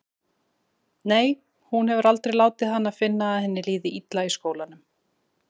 Nei, hún hefur aldrei látið hana finna að henni líði illa í skólanum.